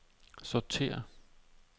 sortér